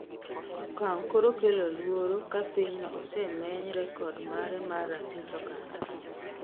Okang' koro kelo luoro ka pinyno osemeny rekod mare mar ratich oganda